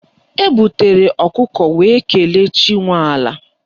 Ebutere ọkụkọ wee kelee chi nwe ala